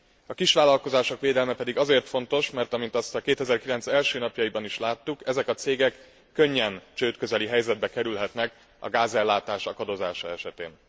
A kisvállalkozások védelme pedig azért fontos, mert amint azt 2009 első napjaiban is láttuk, ezek a cégek könnyen csődközeli helyzetbe kerülhetnek a gázellátás akadozása esetén.